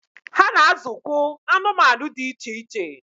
Ha na azụkwụ anụmanụ dị iche iche.